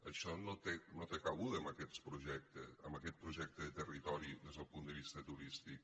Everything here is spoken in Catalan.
això no té cabuda en aquest projecte de territori des del punt de vista turístic